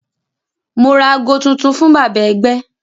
Mo ra aago tuntun fún bàbá ẹgbẹ́